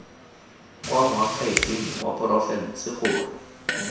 kwa moakhaefeng wa porofense gore